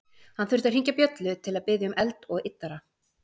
Hann þurfti að hringja bjöllu til að biðja um eld og yddara.